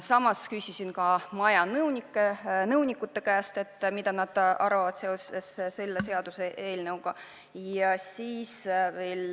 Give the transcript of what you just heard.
Ning ma küsisin ka maja nõunike käest, mida nad sellest seaduseelnõust arvavad.